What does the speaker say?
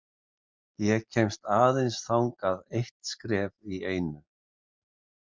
Ég kemst aðeins þangað eitt skref í einu.